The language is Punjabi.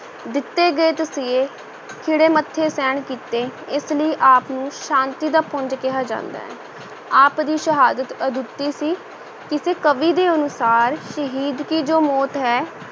ਦਿੱਤੇ ਗਏ ਤਸੀਹੇ ਖਿੜੇ ਮੱਥੇ ਸਹਿਣ ਕੀਤੇ, ਇਸ ਲਈ ਆਪ ਨੂੰ ਸ਼ਾਂਤੀ ਦਾ ਪੁੰਜ ਕਿਹਾ ਜਾਂਦਾ ਹੈ, ਆਪ ਦੀ ਸ਼ਹਾਦਤ ਅਦੁੱਤੀ ਸੀ, ਕਿਸੇ ਕਵੀ ਦੇ ਅਨੁਸਾਰ ਸ਼ਹੀਦ ਕੀ ਜੋ ਮੌਤ ਹੈ,